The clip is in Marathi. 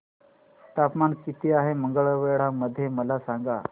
तापमान किती आहे मंगळवेढा मध्ये मला सांगा